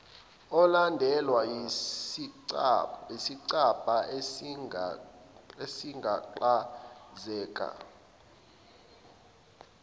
ulandelwa yisicabha esagaklazeka